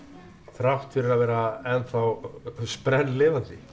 þrátt fyrir að vera enn þá sprelllifandi